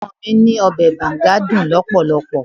Ọmọ mi ní Ọbẹ̀ Banga dùn lọpọlọpọ.